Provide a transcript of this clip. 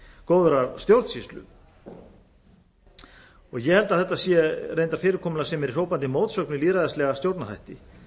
góðrar stjórnsýslu ég held að þetta sé reyndar fyrirkomulag sem er í hrópandi mótsögn við lýðræðislega stjórnarhætti